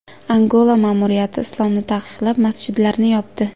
Angola ma’muriyati islomni taqiqlab, masjidlarni yopdi .